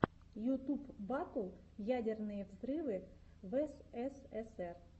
ютуб батл ядерные взрывы в эсэсэсэр